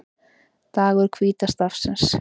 Dagur hvíta stafsins